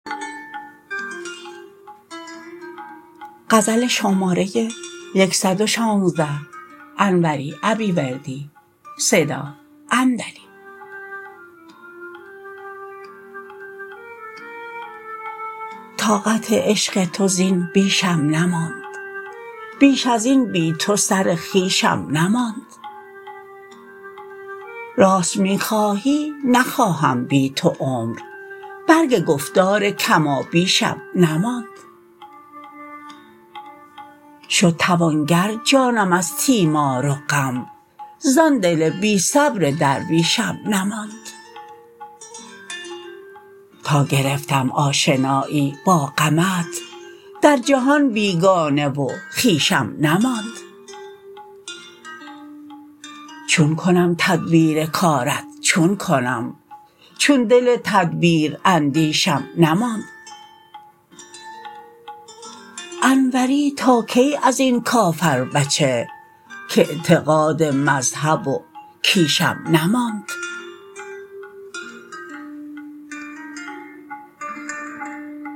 طاقت عشق تو زین بیشم نماند بیش از این بی تو سر خویشم نماند راست می خواهی نخواهم بی تو عمر برگ گفتار کمابیشم نماند شد توانگر جانم از تیمار و غم زان دل بی صبر درویشم نماند تا گرفتم آشنایی با غمت در جهان بیگانه و خویشم نماند چون کنم تدبیر کارت چون کنم چون دل تدبیراندیشم نماند انوری تا کی از این کافربچه کاعتقاد مذهب و کیشم نماند